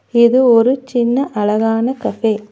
இது ஒரு சின்ன அழகான கஃபே .